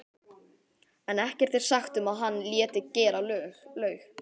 en ekkert er sagt um að hann léti gera laug.